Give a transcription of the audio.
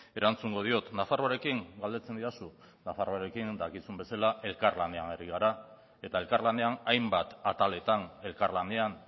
erantzungo diot nafarroarekin galdetzen didazu nafarroarekin dakizun bezala elkarlanean ari gara eta elkarlanean hainbat ataletan elkarlanean